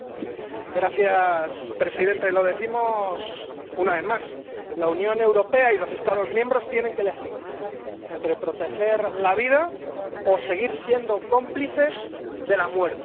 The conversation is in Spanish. Señor presidente, lo decimos una vez más la Unión Europea y los Estados miembros tienen que elegir entre proteger la vida o seguir siendo cómplices de la muerte